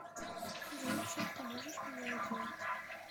джой чем ты можешь меня удивить